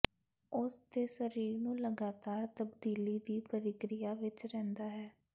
ਉਸ ਦੇ ਸਰੀਰ ਨੂੰ ਲਗਾਤਾਰ ਤਬਦੀਲੀ ਦੀ ਪ੍ਰਕਿਰਿਆ ਵਿਚ ਰਹਿੰਦਾ ਹੈ